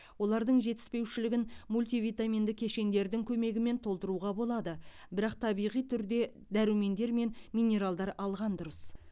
олардың жетіспеушілігін мультивитаминді кешендердің көмегімен толтыруға болады бірақ табиғи түрде дәрумендер мен минералдар алған дұрыс